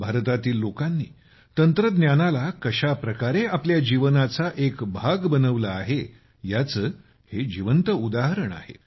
भारतातील लोकांनी तंत्रज्ञानाला कशाप्रकारे आपल्या जीवनाचा एक भाग बनवला आहे याचे हे जिवंत उदाहरण आहे